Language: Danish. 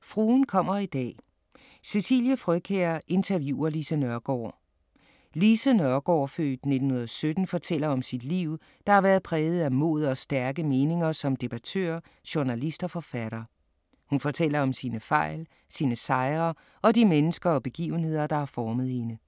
Fruen kommer i dag: Cecilie Frøkjær interviewer Lise Nørgaard Lise Nørgaard (f. 1917) fortæller om sit liv, der har været præget af mod og stærke meninger som debattør, journalist og forfatter. Hun fortæller om sine fejl, sine sejre og de mennesker og begivenheder, der har formet hende.